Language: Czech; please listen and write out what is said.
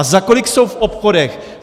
A za kolik jsou v obchodech?